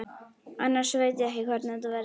Annars veit ég ekki hvernig þetta verður.